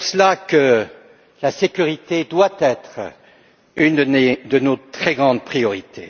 C'est pour cela que la sécurité doit être une de nos très grandes priorités.